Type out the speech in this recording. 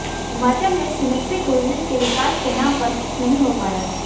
हिमाचल में स्मीट्री टूरिज्म के विकास के नाम पर कुछ नहीं हो पाया है